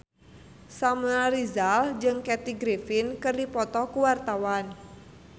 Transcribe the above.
Samuel Rizal jeung Kathy Griffin keur dipoto ku wartawan